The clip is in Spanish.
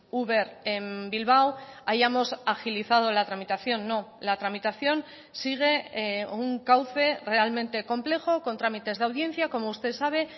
uber en bilbao hayamos agilizado la tramitación no la tramitación sigue un cauce realmente complejo con trámites de audiencia como usted sabe